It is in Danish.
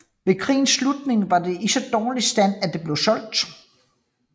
Ved krigens slutning var det i så dårlig stand at det blev solgt